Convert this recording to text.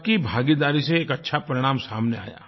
सबकी भागीदारी से एक अच्छा परिणाम सामने आया